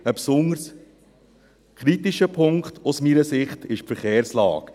Ein besonders kritischer Punkt aus meiner Sicht ist die Verkehrslage.